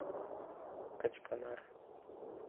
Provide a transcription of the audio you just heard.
качканар